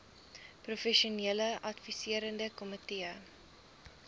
professionele adviserende komitee